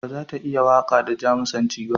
Ba za ta iya waƙa da Jamusanci ba.